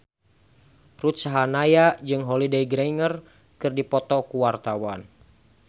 Ruth Sahanaya jeung Holliday Grainger keur dipoto ku wartawan